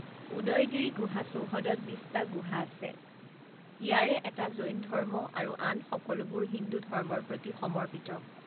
উদয়গিৰি গুহা চৌহদত বিশটা গুহা আছে, ইয়াৰে এটা জৈন ধৰ্ম আৰু আন সকলোবোৰ হিন্দু ধৰ্মৰ প্ৰতি সমৰ্পিত।